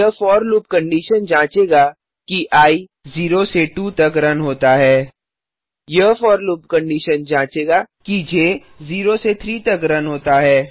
यह for loop condition जाँचेगा कि आई 0 से 2 तक रन होता है यह फोर लूप कंडीशन जाँचेगा कि ज 0 से 3 तक रन होता है